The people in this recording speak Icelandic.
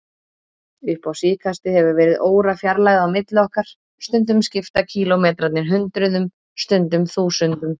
Upp á síðkastið hefur verið órafjarlægð á milli okkar, stundum skipta kílómetrarnir hundruðum, stundum þúsundum.